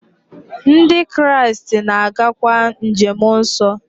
Ndị Kraịst na-agakwa njem nsọ.